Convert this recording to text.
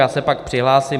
Já se pak přihlásím.